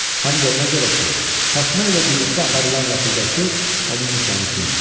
Həm də ona görə ki, Fatma ilə birlikdə aparılan rəfiqəsi onun nişanlısı imiş.